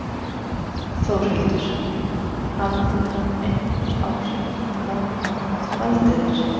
Þórhildur: Hafði það einhver áhrif á hvaða nám þú valdir þér?